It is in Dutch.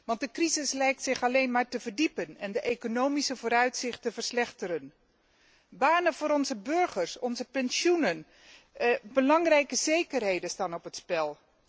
Want de crisis lijkt zich alleen maar te verdiepen en de economische vooruitzichten verslechteren. Banen voor onze burgers, onze pensioenen, belangrijke zekerheden staan op het spel.